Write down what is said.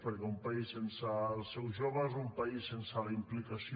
perquè un país sense els seus joves un país sense la implicació